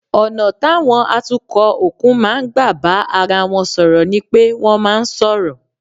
Ọ̀nà táwọn atukọ̀ òkun máa ń gbà bá ara wọn sọ̀rọ̀ ni pé wọ́n máa ń sọ̀rọ̀